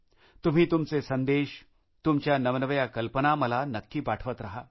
तुम्ही तुमचे संदेश तुमच्या नवनव्या कल्पना मला नक्की पाठवत रहा